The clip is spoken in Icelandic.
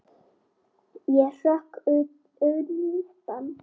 Ég hrökk undan.